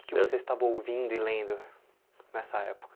O que você estava ouvindo e lendo nessa época?